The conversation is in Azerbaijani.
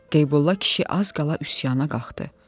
Qeybulla kişi az qala üsyana qalxdı.